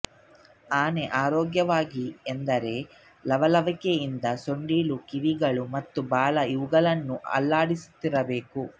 ಆನೆ ಆರೋಗ್ಯವಾಗಿದೆ ಎಂದರೆ ಲವಲವಿಕೆಯಿಂದ ಸೊಂಡಿಲು ಕಿವಿಗಳು ಮತ್ತು ಬಾಲ ಇವುಗಳನ್ನು ಅಲ್ಲಾಡಿಸುತ್ತಿರಬೇಕು